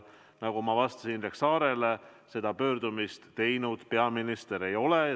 Nagu ma ütlesin Indrek Saarele vastates, peaminister seda pöördumist teinud ei ole.